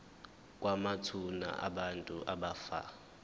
kwamathuna abantu abafa